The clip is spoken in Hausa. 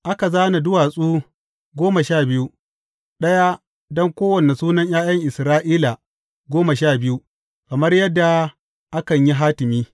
Aka zāna duwatsu goma sha biyu, ɗaya don kowane sunan ’ya’yan Isra’ila goma sha biyu, kamar yadda akan yi hatimi.